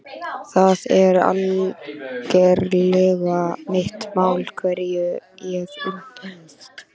Það er algerlega mitt mál hverja ég umgengst.